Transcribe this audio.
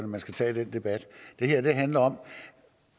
man skal tage den debat det her handler om